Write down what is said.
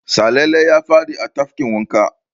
Salele ya faɗa a tafkin wanka.